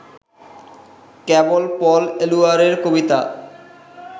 কেবল Paul এলুয়ারের কবিতা